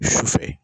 Su fɛ